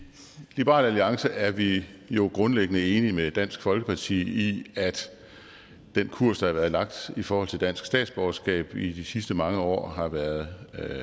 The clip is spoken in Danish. liberal alliance er vi jo grundlæggende enige med dansk folkeparti i at den kurs der har været lagt i forhold til dansk statsborgerskab i de sidste mange år har været